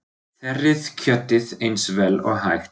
Þerrið kjötið eins vel og hægt er.